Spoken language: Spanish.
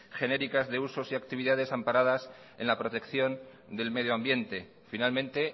genéricas de usos y actividades amparadas en la protección del medio ambiente finalmente